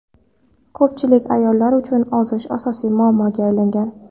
Ko‘pchilik ayollar uchun ozish asosiy muammoga aylangan.